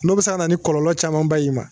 N'o bi se ka na ni kɔlɔlɔ camanba y'i ma.